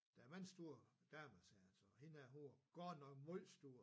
Da var en stor dame sagde han så og hende her hun var godt nok meget stor